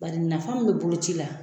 Bari nafa mun be bolo ci la